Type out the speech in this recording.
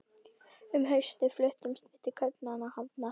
Um haustið fluttumst við til Kaupmannahafnar.